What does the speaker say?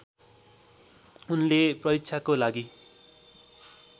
उनले परीक्षाको लागि